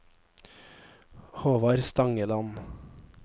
Håvard Stangeland